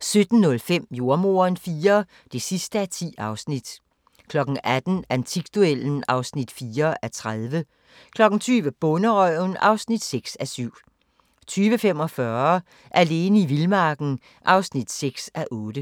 17:05: Jordemoderen IV (10:10) 18:00: Antikduellen (4:30) 20:00: Bonderøven (6:7) 20:45: Alene i vildmarken (6:8)